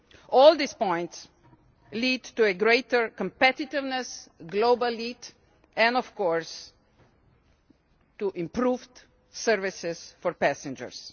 All these points lead to a greater competitiveness, global lead and, of course, to improved services for passengers.